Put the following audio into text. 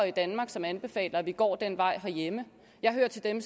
i danmark som anbefaler at vi går den vej herhjemme jeg hører til dem